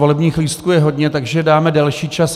Volebních lístků je hodně, takže dáme delší čas.